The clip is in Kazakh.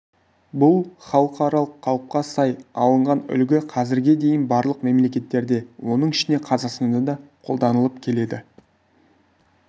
бұл халықаралық қалыпқа сай алынған үлгі қазірге дейін барлық мемлекеттерде оның ішінде қазақстанда да қолданылып келеді